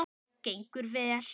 Gengur vel?